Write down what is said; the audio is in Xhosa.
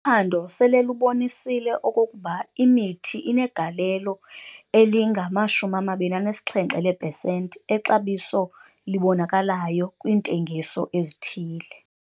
Uphando sele lubonisile okokuba imithi inegalelo elingama-27 leepesenti exabiso libonakalayo kwiintengiso ezithile.